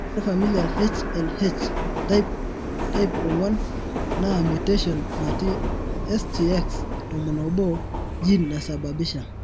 ore familial HLH,type 4 naa mutation natii STX11 gene naisababisha .